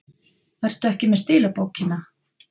Ertu ekki með stílabókina?